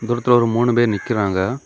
தூரத்துல ஒரு மூணு பேர் நிக்கிறாங்க.